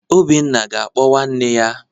Obinna ga-akpọ nwanne ya.